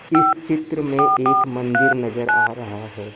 इस चित्र में एक मंदिर नजर आ रहा है।